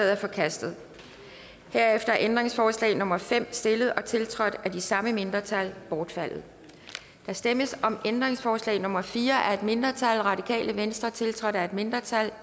er forkastet herefter er ændringsforslag nummer fem stillet og tiltrådt af de samme mindretal bortfaldet der stemmes om ændringsforslag nummer fire af et mindretal tiltrådt af et mindretal